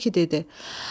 Odur ki dedi: